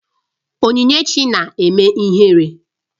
Onyinyechi na-eme ihere